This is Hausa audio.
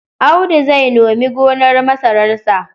Audu zai nome gonar masararsa.